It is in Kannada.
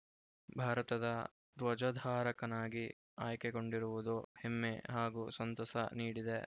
ಭಾರತದ ಧ್ವಜಧಾರಕನಾಗಿ ಆಯ್ಕೆಗೊಂಡಿರುವುದು ಹೆಮ್ಮೆ ಹಾಗೂ ಸಂತಸ ನೀಡಿದೆ